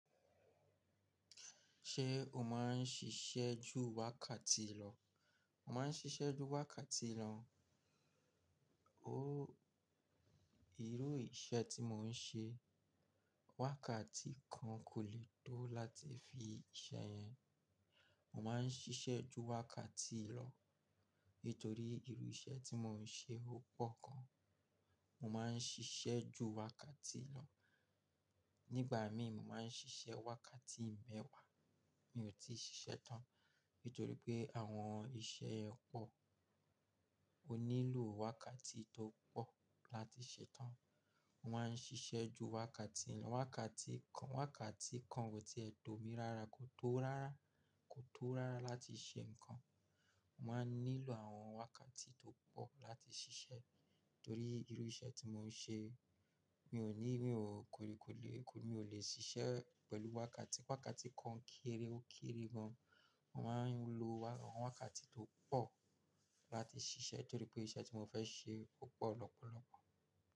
Ṣé o má n ṣiṣẹ́ ju wákàtí lọ? Mo má n ṣiṣẹ́ ju wákàtí lọ, óó irú iṣẹ́ tí mo n ṣe wákàtí kan kò lè tó láti fi iṣẹ́ yẹn. Mo má n ṣiṣẹ́ ju wákàtí lọ, nítorí irú iṣẹ́ tí mo n ṣe ó pọ̀ gan. Mo má n ṣiṣẹ́ ju wákàtí lọ, nígbà mí mo má n ṣiṣẹ́ wákàtí mẹ́wàá mi ò tí ì ṣiṣẹ́ tán, nítorí pé àwọn iṣẹ́ ẹ pọ̀, o nílò wákàtí tó pọ̀ láti ṣe é tán. Mo má n ṣiṣẹ́ ju wákàtí lọ, wákàtí kan, wákàtí kan kò tí è tó mi rárá, kò tó rárá, kò tó rárá láti ṣe nǹkan. Mo má n nílò àwọn wákàtí tó pọ̀ láti ṣiṣẹ́ torí irú iṣẹ́ tí mo n ṣe mi ò ní, mi ò kòriikoile, mi ò le ṣiṣẹ́ pẹ̀lú wákàtí wákàtí kan kéré ó kéré gan. Mo má n lo àwọn wákàtí tó pọ̀ láti ṣiṣẹ́ torí pé iṣẹ́ tí mo fẹ́ ṣe ó pọ̀ lọ́pọ̀lọ́pọ̀.